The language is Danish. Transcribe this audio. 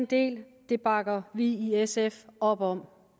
det det bakker vi i sf op om